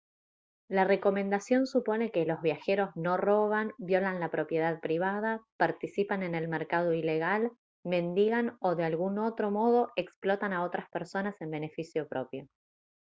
la recomendación supone que los viajeros no roban violan la propiedad privada participan en el mercado ilegal mendigan o de algún otro modo explotan a otras personas en beneficio propio